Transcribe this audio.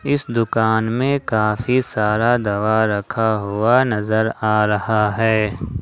इस दुकान में काफी सारा दवा रखा हुआ नजर आ रहा है।